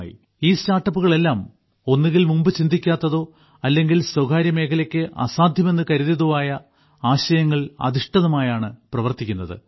ഈ സ്റ്റാർട്ടപ്പുകളെല്ലാം ഒന്നുകിൽ മുമ്പ് ചിന്തിക്കാത്തതോ അല്ലെങ്കിൽ സ്വകാര്യമേഖലയ്ക്ക് അസാധ്യമെന്ന് കരുതിയതോ ആയ ആശയങ്ങളിൽ അധിഷ്ഠിതമായാണ് പ്രവർത്തിക്കുന്നത്